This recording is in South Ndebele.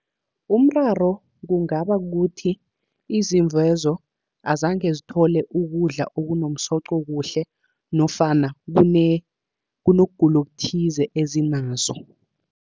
Umraro kungaba kukuthi izimvu lezo, azange zithole ukudla okunomsoco kuhle, nofana kunokugula okuthize ezinazo.